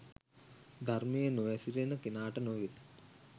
ධර්මයේ නොහැසිරෙන කෙනාට නොවෙයි.